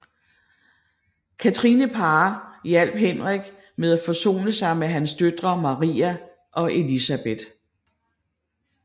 Catherine Parr hjalp Henrik med at forsone sig med hans døtre Maria og Elisabeth